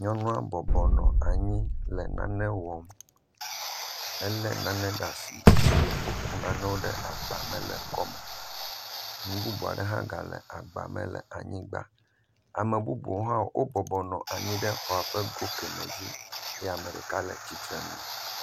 Nyɔnua bɔbɔnɔ anyi le nane wɔm, elé nane ɖe asi eye wokɔ nanewo ɖe agba me le ekɔ me nu bubu hã gale agbame le anyigba. Ame bubu hã wo bɔbɔnɔ anyi le exɔa ƒe go keme dzi eye ame ɖeka le tsitre nu.